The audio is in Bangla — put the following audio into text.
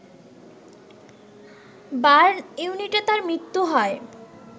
বার্ন ইউনিটে তার মৃত্যু হয়